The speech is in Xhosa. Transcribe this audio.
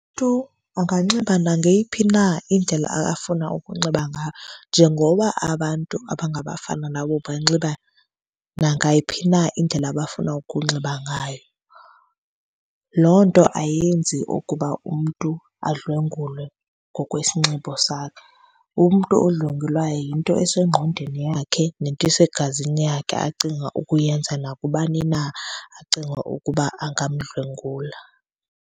anganxiba nangeyiphi na indlela afuna ukunxiba ngayo njengoba abantu abangabafana nabo banxiba nangayiphi na indlela abafuna ukunxiba ngayo. Loo nto ayenzi okuba umntu adlwengulwe ngokwesinxibo sakhe. Umntu odlwengulayo kwaye yinto esengqondweni yakhe nento esegazini yakhe acinga ukuyenza nakubani na acinga ukuba angamdlwengula.